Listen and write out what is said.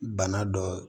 Bana dɔ